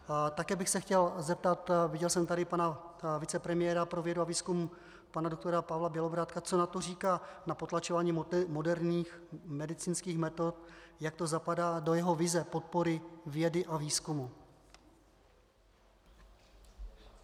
Také bych se chtěl zeptat, viděl jsem tady pana vicepremiéra pro vědu a výzkum pana doktora Pavla Bělobrádka, co na to říká, na potlačování moderních medicínských metod, jak to zapadá do jeho vize podpory vědy a výzkumu.